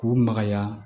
K'u magaya